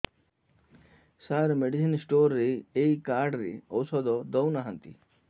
ସାର medicine store ରେ ଏଇ card ରେ ଔଷଧ ଦଉନାହାନ୍ତି